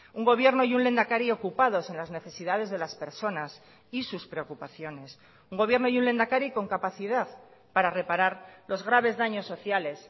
un gobierno y un lehendakari ocupados en las necesidades de las personas y sus preocupaciones un gobierno y un lehendakari con capacidad para reparar los graves daños sociales